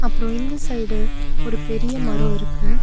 அப்ரோ இந்த சைடு ஒரு பெரிய மரோ இருக்கு.